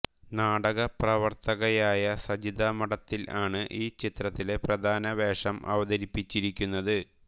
നാടകപ്രവർത്തകയായ സജിത മഠത്തിൽ ആണു് ഈ ചിത്രത്തിലെ പ്രധാന വേഷം അവതരിപ്പിച്ചിരിക്കുന്നത്